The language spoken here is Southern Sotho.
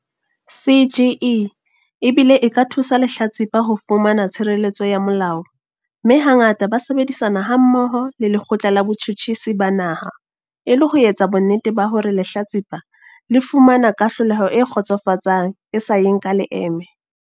CGE e bile e ka thusa lehlatsipa ho fumana tshireletso ya molao mme hangata ba sebedisana hammoho le Lekgotla la Botjhutjhisi ba Naha e le ho etsa bonnete ba hore lehlatsipa le fumana kahlolelo e kgotsofatsang e sa yeng ka leeme.